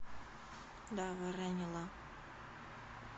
дава ранила